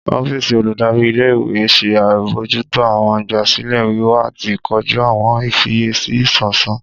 Ọfíìsì oludari íle-ìwe n ṣe abojuto awọn igbasilẹ wiwa ati koju awọn ifiyesi isansa.